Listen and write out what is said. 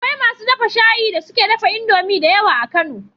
Akwai masu dafa shayi da suke dafa indomie da yawa a kano